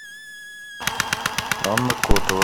анна котова